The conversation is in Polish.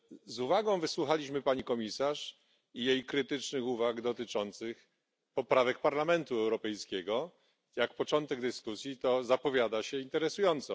Z uwagą wysłuchaliśmy pani komisarz i jej krytycznych uwag dotyczących poprawek Parlamentu Europejskiego jak na początek dyskusji to zapowiada się interesująco.